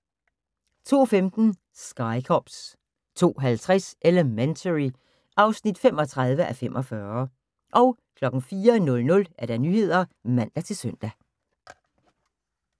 02:15: Sky Cops 02:50: Elementary (35:45) 04:00: Nyhederne (man-søn)